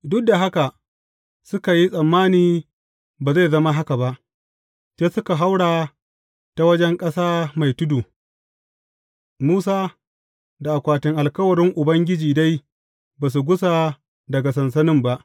Duk da haka, suka yi tsammani ba zai zama haka ba, sai suka haura ta wajen ƙasa mai tudu, Musa da akwatin alkawarin Ubangiji dai ba su gusa daga sansanin ba.